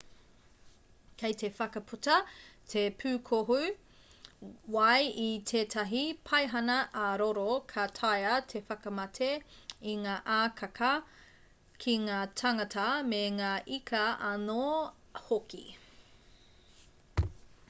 kei te whakaputa te pūkohu wai i tētahi paihana ā-roro ka taea te whakamate i ngā akaaka ki ngā tāngata me ngā ika anō hoki